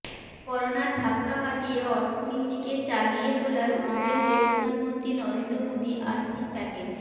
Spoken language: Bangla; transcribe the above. করোনার ধাক্কা কাটিয়ে অর্থনীতিকে চাগিয়ে তোলার উদ্দেশে প্রধানমন্ত্রী নরেন্দ্র মোদী আর্থিক প্যাকেজ